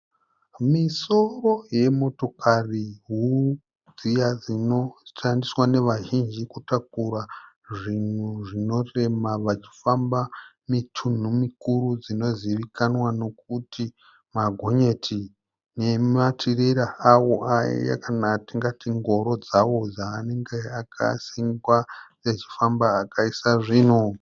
Misoro yemotokari huru dziya dzinoshandiswa nevazhinji kutakura zvinhu zvinorema vachifamba mitunhu mikuru dzinozivikanwa nekuti magonyeti nematirera awo aya kana atingati ngoro dzawo dzaanenge akasungwa achifamba akaisa zvinhu.